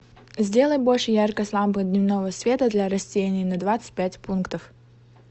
сделай больше яркость лампы дневного света для растений на двадцать пять пунктов